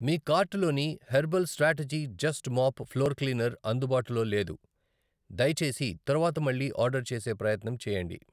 మీ కార్టులోని herbal strategy just mop floor cleaner అందుబాటులో లేదు, దయచేసి తరువాత మళ్ళీ ఆర్డర్ చేసే ప్రయత్నం చేయండి.